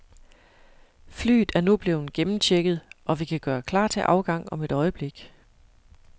Flyet er nu blevet gennemchecket, og vi kan gøre klar til afgang om et øjeblik.